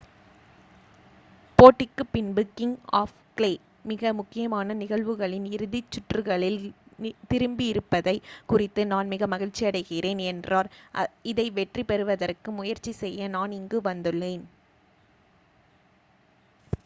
"போட்டிக்குப் பின்பு king of clay "மிக முக்கியமான நிகழ்வுகளின் இறுதி சுற்றுகளில் திரும்பியிருப்பதைக் குறித்து நான் மிக மகிழ்ச்சியடைகிறேன்" என்றார். இதை வெற்றி பெறுவதற்கு முயற்சி செய்ய நான் இங்கு வந்துள்ளேன்.""